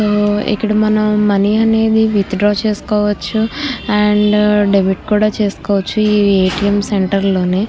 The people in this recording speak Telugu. ఇక్కడ మనం మనీ అనేది విత్డ్రా చేసుకోవచ్చు అండ్ డెబిట్ కూడ చేసుకోచ్చు ఈ ఎ.టి.ఎం. సెంటర్ లోని --